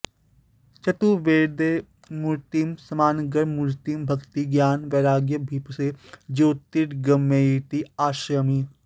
चतुर्वेद मूर्तिं सामगानमूर्तिं भक्ति ज्ञान वैराग्यभीप्से ज्योतिर्गमयेति आश्रयामि